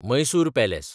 Mysore palace